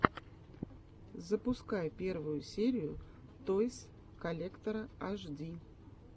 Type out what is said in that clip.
запускай первую серию тойс коллектора аш ди